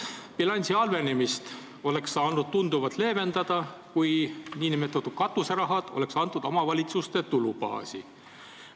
Bilansi halvenemist oleks saanud tunduvalt leevendada, kui nn katuserahad oleks lisatud omavalitsuste tulubaasi.